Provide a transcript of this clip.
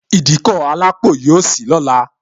Ìdíkọ̀ alápò yọ sì lọ́la